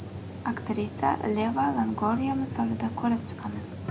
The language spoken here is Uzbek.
Aktrisa Yeva Longoriya misolida ko‘rib chiqamiz .